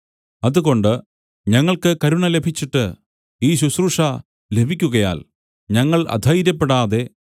അതുകൊണ്ട് ഞങ്ങൾക്ക് കരുണ ലഭിച്ചിട്ട് ഈ ശുശ്രൂഷ ലഭിക്കുകയാൽ ഞങ്ങൾ അധൈര്യപ്പെടാതെ